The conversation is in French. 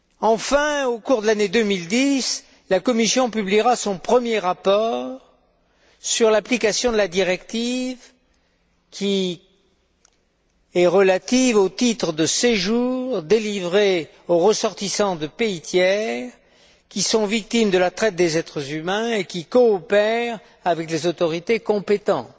Enfin, au cours de l'année 2010, la Commission publiera son premier rapport sur l'application de la directive relative aux titres de séjour délivrés aux ressortissants de pays tiers, qui sont victimes de la traite des êtres humains et qui coopèrent avec les autorités compétentes.